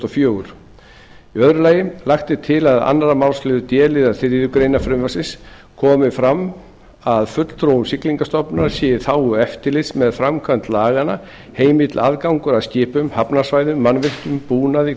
og fjögur annars lagt er til að í öðrum málsl d liðar þriðju greinar frumvarpsins komi fram að fulltrúum siglingastofnunar sé í þágu eftirlits með framkvæmd laganna heimill aðgangur að skipum hafnarsvæðum mannvirkjum búnaði